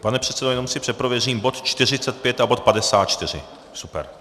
Pane předsedo, jenom si přeprověřím - bod 45 a bod 54. Super.